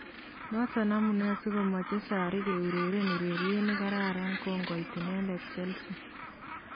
Notok amune si komeche sarri keureren ureriet nekararan kongoit inendet chelsea